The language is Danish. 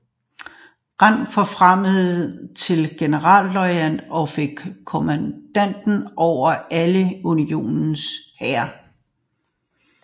Grant forfremmet til generalløjtnant og fik kommandoen over alle Unionens hære